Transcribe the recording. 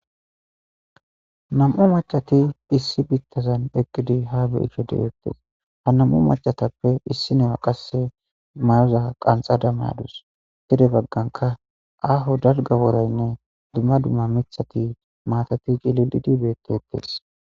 Nam7u macati issi bittazan eqqidi ha beishe de7ettees ha nam7u macatappe issi ne7a qasse mayoza qanxada mayadus tide bagganka aaho dalga woraynne dumma dumma mithati maatati ciliidibeettetees.